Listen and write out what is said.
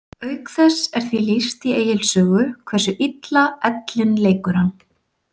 Auk þess er því lýst í Egils sögu hversu illa ellin leikur hann.